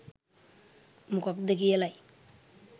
මොකද්ද කියලයි.